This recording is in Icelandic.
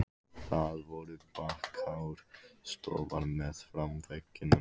Það voru bakháir sófar meðfram veggjunum.